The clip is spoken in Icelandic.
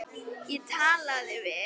Ég talaði við